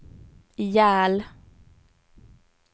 ihjäl